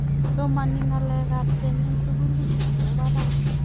somani ngalek ab keny eng' sukulit nebo barak